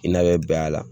I n'a bɛ bɛn a la